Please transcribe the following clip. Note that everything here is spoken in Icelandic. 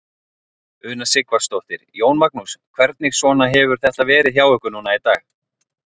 Una Sighvatsdóttir: Jón Magnús, hvernig svona hefur þetta verið hjá ykkur núna í dag?